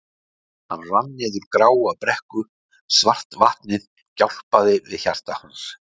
Hann rann niður gráa brekku, svart vatnið gjálpaði við hjarta hans.